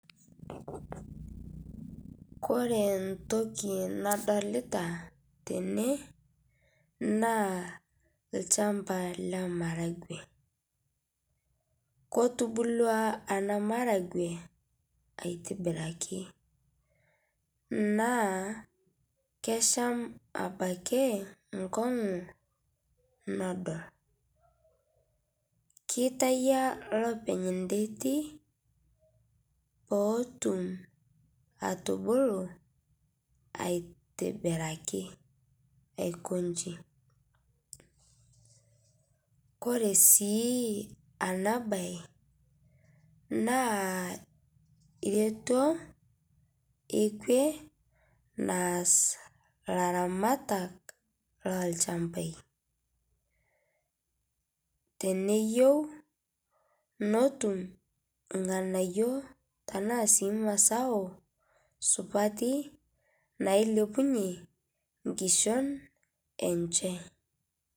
Kore ntoki nadolitaa tenee naa lchampaa le maragwee kotubulua anaa maragwee aitibirkii naa kesham abakii nkong'uu nodol. Keitayaa lopeny ndetii pootum atubuluu aitibirakii aikonshii kore sii ana bai naa rietoo ekwee naaz laramatak lolchampai teneyeu notum lghanayo tanaa sii mazao suatii nailepunyee nkishon enshe.